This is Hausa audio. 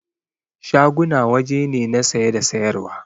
Shaguna waje ne na saye da sayar wa